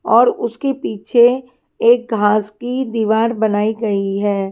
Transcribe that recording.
और उसके पीछे एक घास की दीवार बनाई गई हैं।